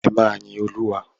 Ẹ máa yin Olúwa.